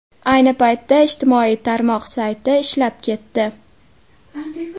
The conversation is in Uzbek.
Ayni paytda ijtimoiy tarmoq sayti ishlab ketdi.